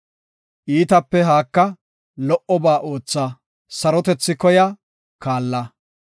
Iitape haaka; lo77oba ootha; sarotethi koya; kaalla.